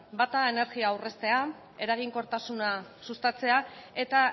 bata energia aurreztea eraginkortasuna sustatzea eta